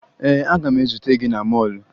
Ee, aga m ezute gị na mọọlụ